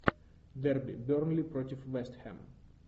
дерби бернли против вест хэм